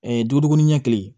duuru ɲɛ kelen